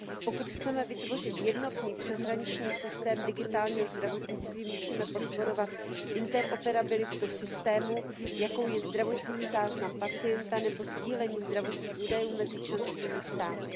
Pokud chceme vytvořit jednotný přeshraniční systém digitálního zdravotnictví, musíme podporovat interoperabilitu systému, jakou je zdravotní záznam pacienta nebo sdílení zdravotních údajů mezi členskými státy.